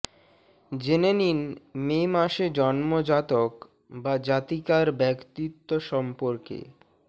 জেনে নিন মে মাসে জন্ম জাতক বা জাতিকার ব্যক্তিত্ব সম্পর্কে